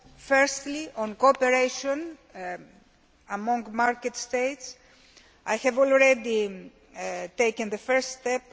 firstly on cooperation among market States, I have already taken the first step.